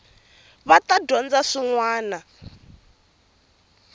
va ta dyondza swin wana